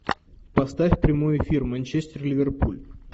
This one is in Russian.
поставь прямой эфир манчестер ливерпуль